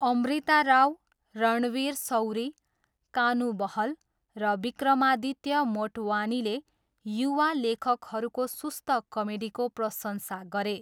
अमृता राव, रणवीर सौरी, कानू बहल र विक्रमादित्य मोटवानीले युवा लेखकहरूको सुस्त कमेडीको प्रशंसा गरे।